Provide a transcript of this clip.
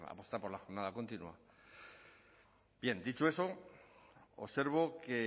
apostar por la jornada continua bien dicho eso observo que